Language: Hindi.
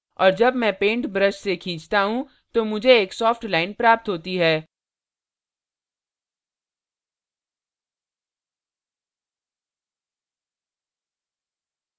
और जब मैं paint brush से खींचता हूँ तो मुझे एक soft line प्राप्त होती है